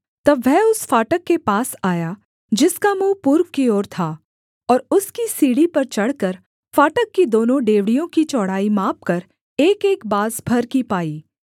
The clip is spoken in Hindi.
तब वह उस फाटक के पास आया जिसका मुँह पूर्व की ओर था और उसकी सीढ़ी पर चढ़कर फाटक की दोनों डेवढ़ियों की चौड़ाई मापकर एकएक बाँस भर की पाई